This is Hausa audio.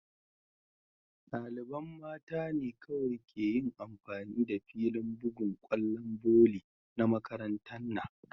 Dalibain mta ne kowai ke yin amfani da filin bugan kwallon voli na makarantan na.